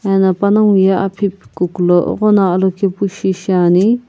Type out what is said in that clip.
eno panaqho ye aphi kukulo ighono alokepu shiane.